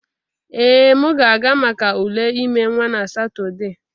Ee, m ga-aga maka ule ime nwa na Satọde